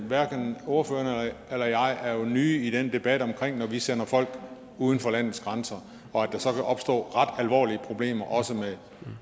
hverken ordføreren eller jeg er jo nye i den debat om at vi sender folk uden for landets grænser og at der så kan opstå ret alvorlige problemer også med